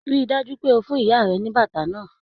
Ríi dájú pé o fún ìyá rẹ ní bàtà náà!